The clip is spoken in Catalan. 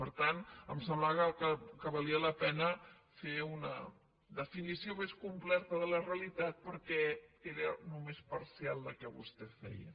per tant em semblava que valia la pena fer una definició més completa de la realitat perquè era només parcial la que vostè feia